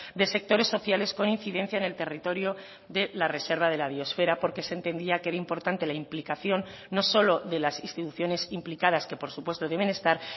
de sectores sociales con incidencia en el territorio de la reserva de la biosfera porque se entendía que era importante la implicación no solo de las instituciones implicadas que por supuesto deben estar